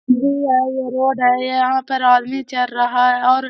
we I road है यहाँ पर आदमी चर रहा है और --